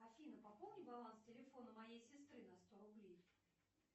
афина пополни баланс телефона моей сестры на сто рублей